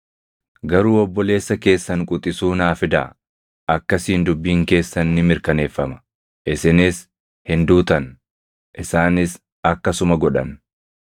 Garuu obboleessa keessan quxisuu naa fidaa; akkasiin dubbiin keessan ni mirkaneeffama; isinis hin duutan.” Isaanis akkasuma godhan.